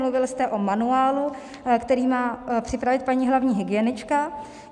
Mluvil jste o manuálu, který má připravit paní hlavní hygienička.